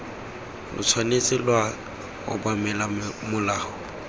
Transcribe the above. lo tshwanetse lwa obamela molao